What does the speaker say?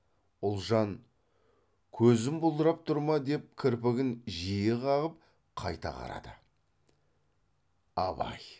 ұлжан көзім бұлдырап тұр ма деп кірпігін жиі қағып қайта қарады абай